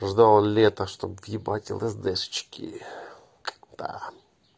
ждать лета чтобы въебать лсдэшечки да